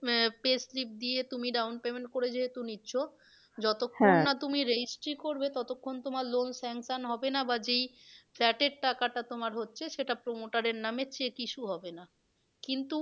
আহ pay slip দিয়ে তুমি down payment করে যেহেতু নিচ্ছ যতক্ষণ তুমি registry করবে ততক্ষন তোমার loan sanction হবে না। বা যেই flat এর টাকাটা তোমার হচ্ছে সেটা promoter এর নামে cheque issue হবে না। কিন্তু